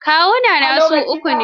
Kawunnai na su uku ne.